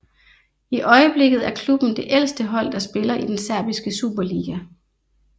I øjeblikket er klubben det ældste hold der spiller i den serbiske superliga